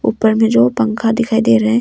ऊपर में जो पंखा दिखाई दे रहा है।